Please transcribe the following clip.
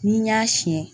N'i y'a siɲɛ